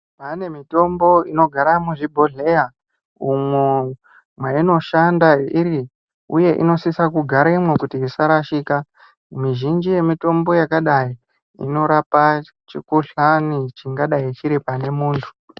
Taane mitombo inogara muzvibhohleya, umwo mweinoshanda iri uye inosisa kugaremwo kuti isarashika. Mizhinji yemitombo yakadai inorapa chikhuhlani chingadai chiri pane muntu.